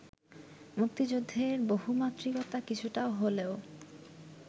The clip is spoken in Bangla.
মুক্তিযুদ্ধের বহুমাত্রিকতা কিছুটা হলেও